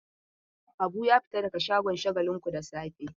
Habu ya fita daga shagon Shagalinku da safe.